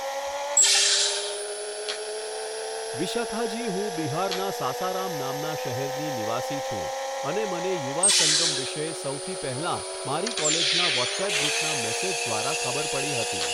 વિશાખાજી હું બિહારના સાસારામ નામના શહેરની નિવાસી છું અને મને યુવા સંગમ વિશે સૌથી પહેલાં મારી કોલેજના વૉટ્સઍપ ગ્રૂપના મેસેજ દ્વારા ખબર પડી હતી.